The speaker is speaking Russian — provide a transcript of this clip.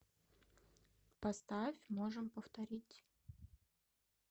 поставь можем повторить